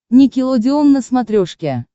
никелодеон на смотрешке